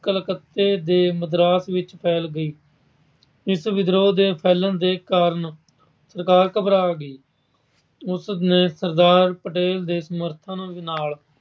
ਕਲੱਕਤੇ ਦੇ ਮਦਰਾਸ ਵਿੱਚ ਫੈਲ ਗਈ। ਇਸ ਵਿਦਰੋਹ ਦੇ ਫੈਲ਼ਣ ਦਾ ਕਾਰਨ ਸਰਕਾਰ ਘਬਰਾ ਗਈ। ਉਸ ਨੇ ਸਰਦਾਰ ਪਟੇਲ ਦੇ ਸਮਰਥਨ ਨਾਲ